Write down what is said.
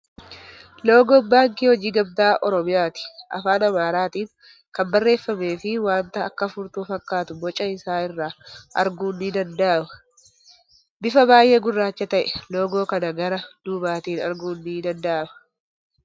Loogoo baankii hojii gamtaa Oromiyaati. Afaan Ingiliffatin kan barreeffamee fii wanta akka furtuu fakkaatu boca isaa irraa arguun ni danda'ama. Bifa baay'ee gurraacha ta'e loogoo kana gara duubatiin arguun ni danda'ama.